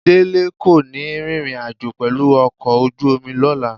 Délé kò ní rìnrìn àjò pẹ̀lú ọkọ̀ ojú omi lọ́la